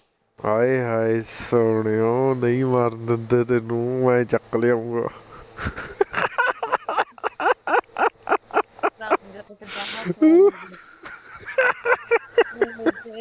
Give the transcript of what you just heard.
ਹਾਏ ਹਾਏ ਸੋਹਣੇਏਓਂ ਨਹੀਂ ਮਰਨ ਦਿੰਦੇ ਤੈਨੂੰ ਮੈਂ ਚੱਕ ਲਿਆਊਂਗਾ ਕਿਦਾਂ ਹੱਸਦੇ ਨੇ